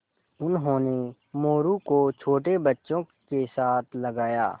उन्होंने मोरू को छोटे बच्चों के साथ लगाया